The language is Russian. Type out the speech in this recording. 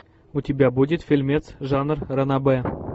у тебя будет фильмец жанр ранобэ